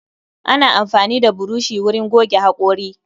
Ana amfani da burushi wurin goge hakori.